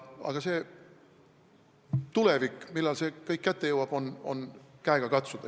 Aga see aeg, millal see kõik kätte jõuab, on käega katsuda.